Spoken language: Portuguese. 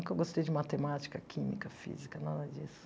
Nunca gostei de matemática, química, física, nada disso.